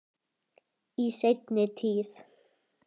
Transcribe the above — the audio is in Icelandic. Í seinni tíð.